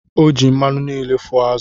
O ji mmanụ niile fụọ azụ̀